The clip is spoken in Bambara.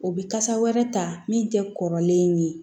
O bɛ kasa wɛrɛ ta min tɛ kɔrɔlen ye